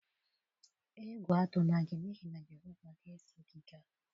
Egwu atụla gị n'ihi na Jehova ga-eso gị gaa.